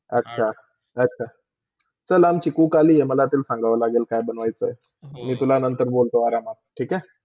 अच्छा - अच्छा! कल अमची cook आली आहे कि मला तर संगावा लागेलतर काय बनव्यचा आहे ती, मी तुला नंतर बोलतो आरामात, ठीक हे.